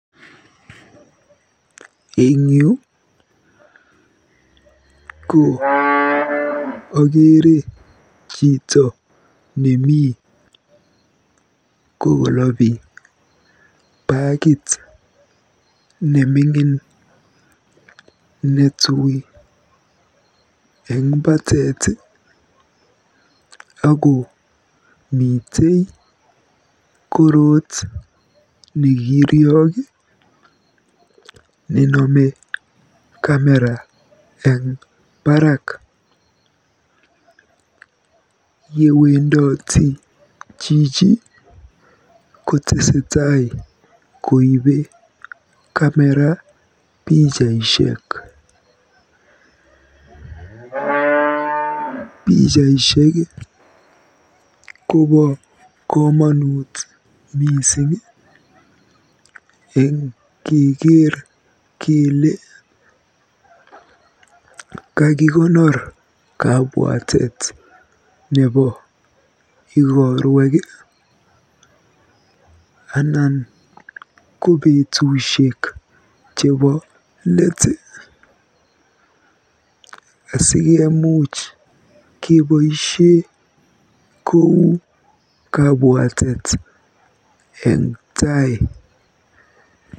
Eng yu ko ageere chito nemi kokolobi bakit neming'in netui eng bateet ako mitei korot nekiriok nenome kamera eng barak. Yewendoti chito kotesetai koibe kamera pichaishek. Pichaishek kobo komonut mising eng keker kele kakikonor kabwatet nebo igorwek anan ko betusiek chebo let asikomuch keboisie kou kabwaatet eng tai.